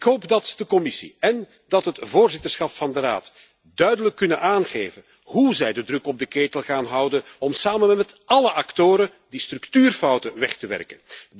Ik hoop dat de Commissie en het voorzitterschap van de Raad duidelijk kunnen aangeven hoe zij de druk op de ketel gaan houden om samen met alle actoren die structuurfouten weg te werken.